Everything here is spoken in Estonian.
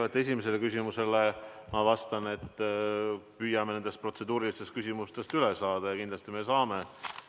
Kõigepealt, esimesele küsimusele ma vastan, et püüame nendest protseduurilistest küsimustest üle saada ja kindlasti me saame.